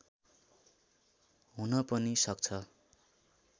हुन पनि सक्छ